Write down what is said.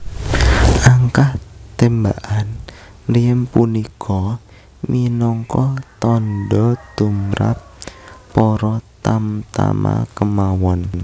Angkah témbakan mriem punika minangka tandha tumrap para tamtama kémawon